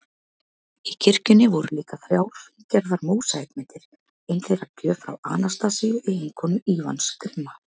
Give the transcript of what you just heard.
Í kirkjunni voru líka þrjár fíngerðar mósaíkmyndir, ein þeirra gjöf frá Anastasíu, eiginkonu Ívans grimma